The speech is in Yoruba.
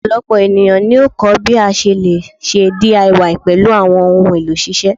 Ọpọlọpọ eniyan yoo kọ ẹkọ bi o ṣe le ṣe DIY pẹlu awọn ohun elo ṣiṣe